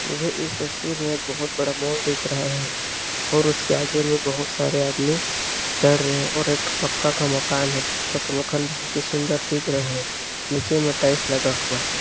मुझे इस तस्वीर में बहुत बड़ा मॉल दिख रहा है और उसके आगे में बहुत सारे आदमी चल रहे और एक ठो पक्का का मकान है पक्का का मकान बहुत ही सुन्दर दिख रहा है नीचे में टाइल्स लगा हुआ है।